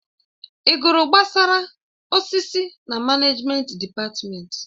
Ị gụrụ gbasara osisi na manejment dịpatmenti?